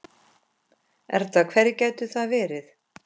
Erla: Hverjir gætu það verið?